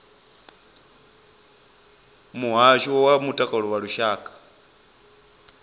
muhasho wa mutakalo wa lushaka